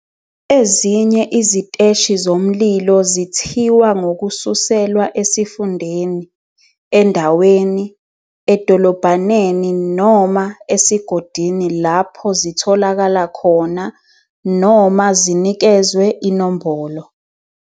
Ezinye iziteshi zomlilo zithiwa ngokususelwa esifundeni, endaweni, edolobhaneni noma esigodini lapho zitholakala khona, noma zinikezwe inombolo.